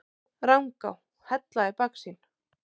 Rangá, Hella í baksýn.